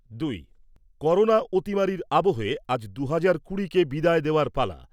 দুই। করোনা অতিমারির আবহে আজ দু'হাজার কুড়িকে বিদায় দেওয়ার পালা।